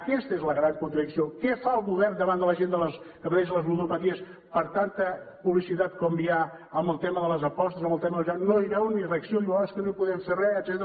aquesta és la gran contradicció què fa el govern davant de la gent que pateix les ludopaties per tanta publicitat com hi ha amb el tema de les apostes amb el tema del joc no hi veuen ni reacció diu oh és que no hi podem fer res etcètera